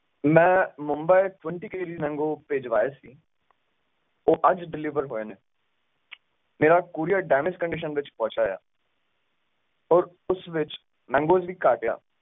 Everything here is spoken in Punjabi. ਮਈ ਮੁੰਬਈ twentykgsmangoes ਭਿਜਵਾਏ ਸੀ ਉਹ ਅੱਜ deliver ਜੋਏ ਨੇ ਮੇਰਾ parceldamagecondition ਵਿਚ ਪਹੁੰਚਿਆ ਆ ਔਰ ਉਸ ਵਿਚ mangoes ਵੀ ਘੱਟ ਆ